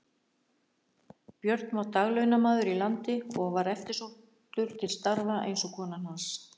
Björn var daglaunamaður í landi og var eftirsóttur til starfa eins og kona hans.